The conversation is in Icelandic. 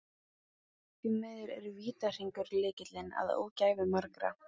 Því miður er vítahringur lykillinn að ógæfu margra.